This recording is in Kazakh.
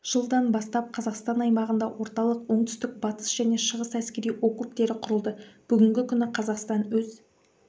жылдан бастап қазақстан аймағында орталық оңтүстік батыс және шығыс әскери округтері құрылды бүгінгі күні қазақстан өз